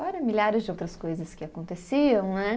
Fora milhares de outras coisas que aconteciam, né?